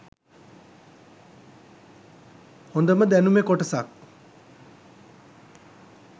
හොඳම දැනුමෙ කොටසක්.